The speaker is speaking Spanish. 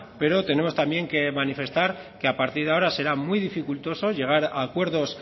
pero tenemos también que manifestar que a partir de ahora será muy dificultoso llegar a acuerdos